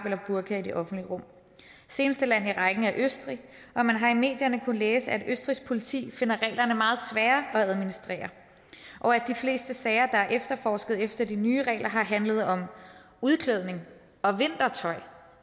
eller burka i det offentlige rum seneste land i rækken er østrig og man har i medierne kunnet læse at østrigsk politi finder reglerne meget svære at administrere og at de fleste sager der er efterforsket efter de nye regler har handlet om udklædning og vintertøj